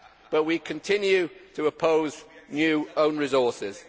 But we continue to oppose new own resources.